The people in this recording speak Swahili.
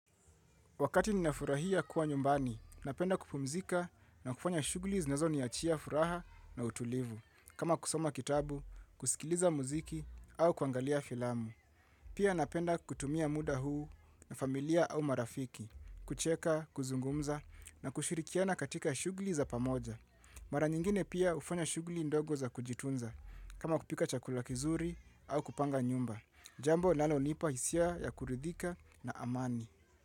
Wakati ninafurahia kuwa nyumbani, napenda kupumzika na kufanya shughuli zinazoniachia furaha na utulivu. Kama kusoma kitabu, kusikiliza muziki au kuangalia filamu. Pia napenda kutumia muda huu na familia au marafiki, kucheka, kuzungumza na kushirikiana katika shughuli za pamoja. Mara nyingine pia hufanya shughuli ndogo za kujitunza, kama kupika chakula kizuri au kupanga nyumba. Jambo linalonipa hisia ya kuridhika na amani.